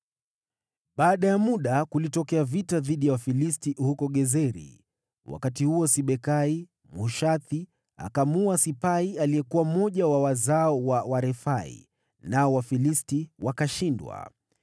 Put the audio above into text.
Baada ya muda, kulitokea vita dhidi ya Wafilisti, huko Gezeri. Wakati huo Sibekai, Mhushathi, akamuua Sipai, aliyekuwa mmoja wa wazao wa Warefai, nao Wafilisti wakashindwa.